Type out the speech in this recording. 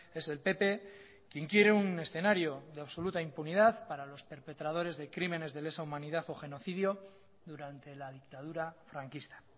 es el pp quien quiere un escenario de absoluta impunidad para los perpretadores de crímenes de lesa humanidad o genocidio durante la dictadura franquista